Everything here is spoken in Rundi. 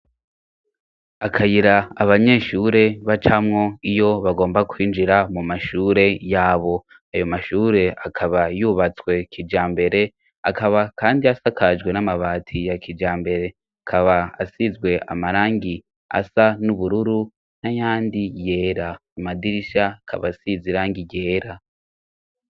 Akayira abanyeshure bacamwo iyo bagomba kwinjira mu mashure yabo, ayo mashure akaba yubatswe kijambere, akaba kandi asakajwe n'amabati ya kijambere, akaba asizwe amarangi asa n'ubururu n'ayandi yera, amadirisha akaba asize irangi ryera.